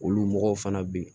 Olu mɔgɔw fana bɛ yen